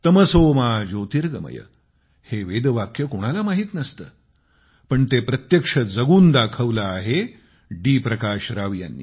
तमसो मा ज्योतिर्गमय हे वेदवाक्य कोणाला माहित नसते पण ते प्रत्यक्ष जगून दाखवले आहे डी प्रकाश राव यांनी